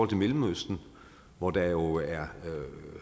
til mellemøsten hvor der jo er